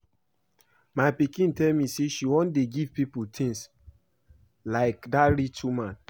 My pikin tell me say she wan dey give people things like dat rich woman